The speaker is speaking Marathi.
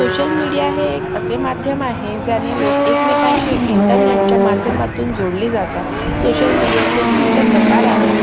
social media हे एक असे माध्यम आहे ज्याने लोक एकमेकांशी internet च्या माध्यमातून जोडली जातात social media चे विविध प्रकार आहेत